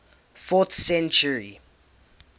fourth century